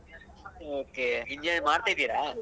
Okay engineering ಮಾಡ್ತಾ ಇದ್ದೀರಾ?